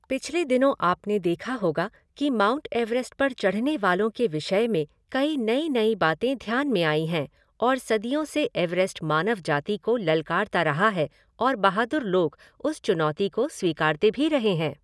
पिछले दिनों आपने देखा होगा कि माउंट एवरेस्ट पर चढ़ने वालों के विषय में कई नई नई बातें ध्यान में आयी हैं और सदियों से एवरेस्ट मानव जाति को ललकारता रहा है और बहादुर लोग उस चुनौती को स्वीकारते भी रहे हैं।